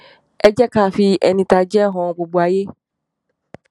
ẹ jẹ ká fi ẹni tá a jẹ han gbogbo ayé